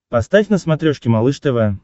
поставь на смотрешке малыш тв